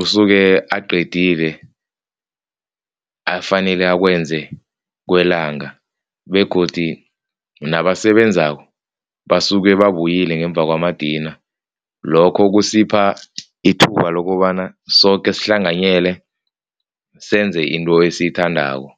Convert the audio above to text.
usuke aqedile afanele akwenze kwelanga begodu nabasebenzako basuke babuyele ngemva kwamadina, lokho kusipha ithuba lokobana soke sihlanganyele senze into esiyithandako.